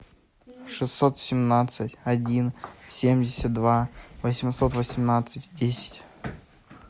шестьсот семнадцать один семьдесят два восемьсот восемнадцать десять